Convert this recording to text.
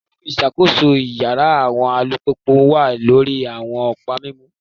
Fifun iṣakoso iyara awọn alupupu wa lori awọn ọpa mimu,